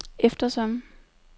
eftersom